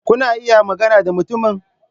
Kuna iya magana da mutumin?